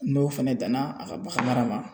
N'o fɛnɛ danna a ka bagan mara ma